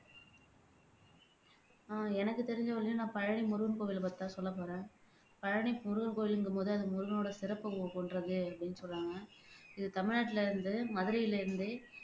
ஆஹ் எனக்கு தெரிஞ்ச வரையிலும் நான் பழனி முருகன் கோவிலை பத்தி தான் சொல்லப்போறேன் பழனி முருகன் கோவிலுங்கும் போது அது முருகனோட சிறப்பு போன்றது அப்படின்னு சொல்றாங்க இது தமிழ்நாட்டுல இருந்து மதுரையிலிருந்து